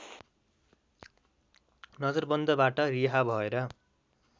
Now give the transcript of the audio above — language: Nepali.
नजरबन्दबाट रिहा भएर